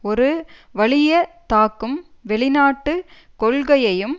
ஒரு வலியத் தாக்கும் வெளிநாட்டு கொள்கையையும்